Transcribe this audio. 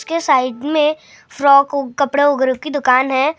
उसके साइड में फ्रॉक कपडो वैगरों की दुकान है ।